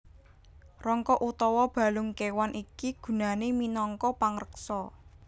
Rangka utawa balung kéwan iki gunané minangka pangreksa